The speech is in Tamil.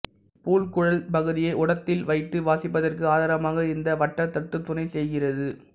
புல் குழல் பகுதியை உதட்டில் வைத்து வாசிப்பதற்கு ஆதாரமாக இந்த வட்டத்தட்டு துணைச் செய்கிறது